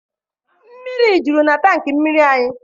Mmiri juru na tanki mmiri anyị.